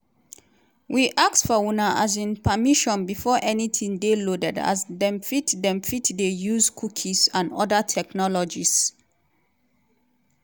we ask for una um permission before anytin dey loaded as dem fit dem fit dey use cookies and oda technologies.